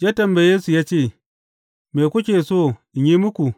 Ya tambaye su ya ce, Me kuke so in yi muku?